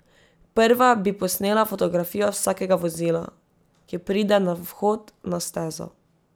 Prva bi posnela fotografijo vsakega vozila, ki pride na vhod na stezo.